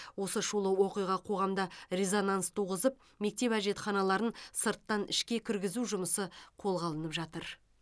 осы шулы оқиға қоғамда резонанс туғызып мектеп әжетханаларын сырттан ішке кіргізу жұмысы қолға алынып жатыр